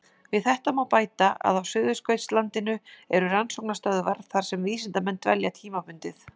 Við þetta má bæta að á Suðurskautslandinu eru rannsóknarstöðvar þar sem vísindamenn dvelja tímabundið.